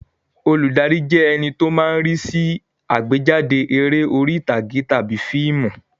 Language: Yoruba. Olùdarí jẹ́ ẹní tó máa ń rí sí àgbéjáde eré orí ìtàgé tàbí fíìmù